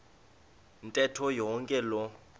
ntetho yonke loo